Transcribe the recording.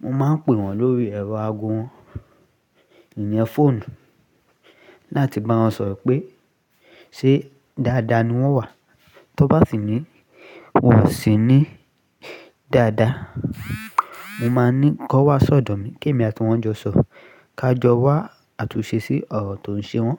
mo máa ń pè wọ́n lórí ẹ̀rọ ago wọn, ìyẹn fọ́ọ̀nù láti bá wọn sọ̀rọ̀ pé ṣé dáadáa ni wọ́n wà. Tán bá sì ní wọ́n ò sí ní dáadáa, mo máa ní kàn wá sọ́dọ̀ mi. Kẹ́mi àti wọ́n jọ sọ̀, ká jọ wá àtúnṣe sí ọ̀rọ̀ tó ń ṣe wọ́n.